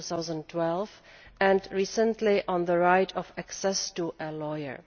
2012 and, recently, on the right of access to a lawyer.